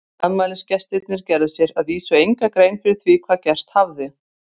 Afmælisgestirnir gerðu sér að vísu enga grein fyrir því hvað gerst hafði.